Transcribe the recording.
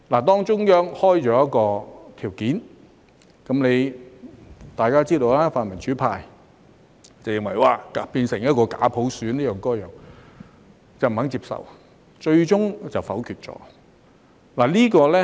當中央開出一些條件，大家也知道，泛民主派認為這會變成假普選或這樣那樣的，於是不肯接受，最終否決了。